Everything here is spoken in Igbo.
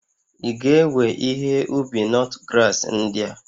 Ị ga-ewe ihe ubi nutgrass ndị a?